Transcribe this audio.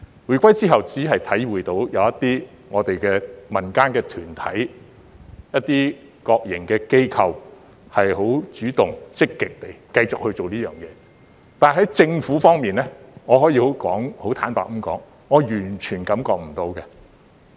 回歸後我只觀察到一些民間團體、一些國營機構主動和積極地繼續這樣做，但政府方面，我可以很坦白地說，我完全感覺不到。